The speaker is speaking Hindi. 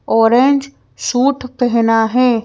ऑरेंज सूट पहना है।